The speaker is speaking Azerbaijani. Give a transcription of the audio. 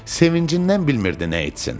Sevincindən bilmirdi nə etsin.